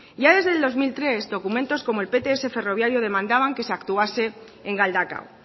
ya desde el dos mil tres documentos como el pts ferroviario demandaba que se actuase en galdakao